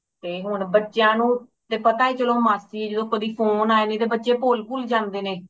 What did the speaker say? ਤੇ ਹੁਣ ਬੱਚਿਆਂ ਨੂੰ ਤੇ ਪਤਾ ਚਲੋ ਮਾਸੀ ਏ ਜਦੋ ਕਦੀ phone ਆਏਗਾ ਨਹੀਂ ਤੇ ਬੱਚੇ ਭੋਲ ਭੁੱਲ ਜਾਂਦੇ ਨੇ